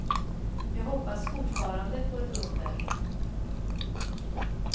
Jag hoppas fortfarande på ett under.